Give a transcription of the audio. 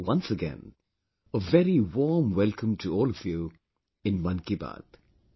Once again, a very warm welcome to all of you in 'Mann Ki Baat'